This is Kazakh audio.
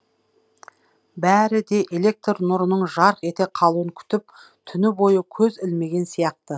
бәрі де электр нұрының жарқ ете қалуын күтіп түні бойы көз ілмеген сияқты